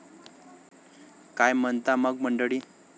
काय म्हणता मग मंडळी?